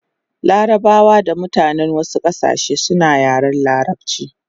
Larabawa da mutanen wasu kasashe suna yaren larabchi